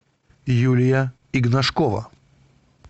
юлия игнашкова